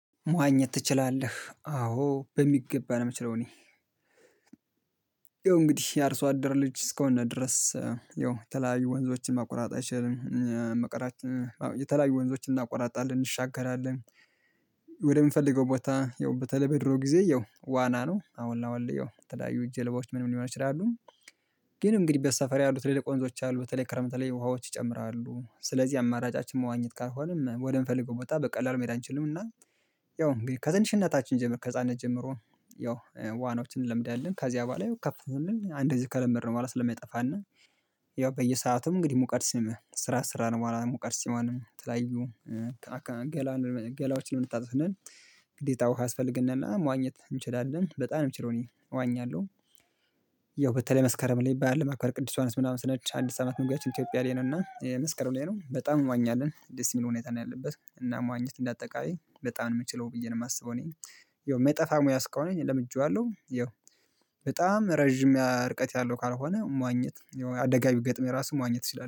መዋኘት ትችላለህ? አዎ በሚገባ ነው። የምችለው እኔ እንግዲህ የአርሶ አደር ልጅ እስከሆነ ድረስ ይው የተለያዩ ወንዞችን ማቆራረጥ አይችልም መቁረጥ የተለያዩ ወንዞችን እናቆራርጣለን እንሻገራለን። ወደምንፈልገው ቦታ ያው በተለይ በድሮ ጊዜ ያው ዋና ነው አሁን አሁን ያው የተለያዩ ጀልባዎች ምን ሊሆን ይችላሉ ይችላል። ግን እንግዲህ በሰፈር ያሉት ትልልቅ ወንዞች አሉ በተለይ ክረምት ላይ ውሃዎች ይጨምራሉ ስለዚህ አማራጫችን መዋኘት ካልሆነ ወደምፈልገው ቦታ በቀላሉ መሄድ አንችልም። እና ያው ከትንሽነታችን ጀምሮ ከህፃንነት ጀምሮ ያው ዋናዎችን እንለምዳለን። ከዚሃ በኃላ ከፍ ስንል አንድግዜ ከለምድነው በኃላ ስለማይጠፋነ ያው በየሰአቱም እንግዲህ ሙቀድ ስራ ስራ ነው ሙቀድ የምቀርበው ሲሆን ተለያዩ ገላዎችን ልንታጠብ ስንል ግዴታ ውሃ ያስፈልግናለን። መዋኘት እንችላለን በጣም ምችለው እኔ እዋኛለሁ። ያው በተለይ መስከረም ላይ በዓል ለማክበር ቅዱስ ዮሐንስ ምናምን ስንሄድ አዲስ አመት መግቢያ ኢትዮፕያ ላይ ነው እና መስከረም ላይ ነው በጣም እንዋኛለን ደስ የሚል ሁኔታ ነው። ያለበት እና መዋኘት እንደ አጠቃላይ በጣም ነው ምችለው ብዬ ነው የማስበው። እኔ ማይጠፋ ሙያ ስከወን እኔ ለምጄዋለሁ ይኸው በጣም ረጅም ርቀት ያለው ካልሆነ መዋኘት ያው አደጋ ቢገጥመኝ ራሱ መዋኘት እችላለው